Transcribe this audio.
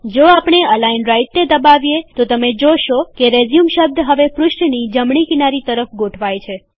જો આપણે અલાઈન રાઈટને દબાવીએતો તમે જોશો કે રેઝયુમ શબ્દ હવે પૃષ્ઠની જમણી કિનારી તરફ ગોઠવાયેલ છે